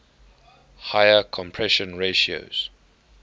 higher compression ratios